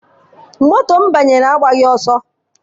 Moto m banyere agbaghị ọsọ.